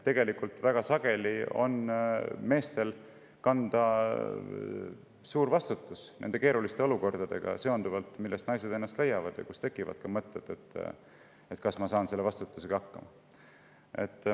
Tegelikult väga sageli on meestel kanda suur vastutus nendes keerulistes olukordades, millest naised ennast leiavad ja kus tekivad ka mõtted, et kas ma saan selle vastutusega hakkama.